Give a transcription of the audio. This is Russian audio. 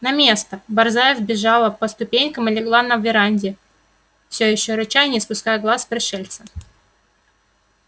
на место борзая взбежала по ступенькам и легла на веранде всё ещё рыча и не спуская глаз с пришельца